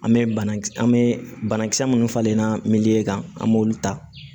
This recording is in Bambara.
An bɛ banakisɛ an bɛ banakisɛ minnu falen na min kan an b'olu ta